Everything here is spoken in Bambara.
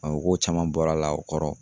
u ko caman bɔr'a la o kɔrɔ?